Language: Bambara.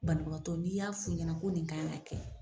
Banabagatɔ n'i y'a f'u ɲana ko nin kan ŋa kɛ